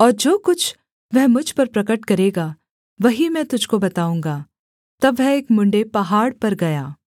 और जो कुछ वह मुझ पर प्रगट करेगा वही मैं तुझको बताऊँगा तब वह एक मुँण्ड़े पहाड़ पर गया